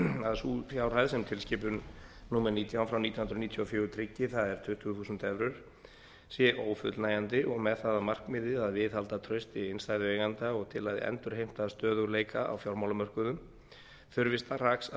sú fjárhæð sem tilskipun númer nítján frá nítján hundruð níutíu og fjögur tryggi það er tuttugu þúsund evrur sé ófullnægjandi og með það að markmiði að viðhalda trausti innstæðueigenda og til að endurheimta stöðugleika á fjármálamörkuðum þurfi strax að